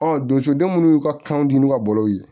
donso den munnu y'u ka kanw dun n'u ka bɔlɔw ye